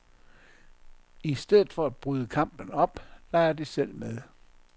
I stedet for at bryde kampen op, leger de selv med.